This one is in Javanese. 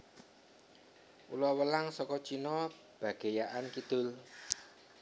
Ula welang saka Cina bagéyaan kidul